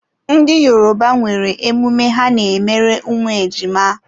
Ndị Yoruba nwere emume ha n'emere ụmụ ejima.